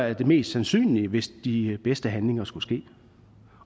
er det mest sandsynlige hvis de bedste handlinger skulle ske